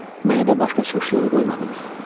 Mənə də başqa çıxış yolu qoymadınız.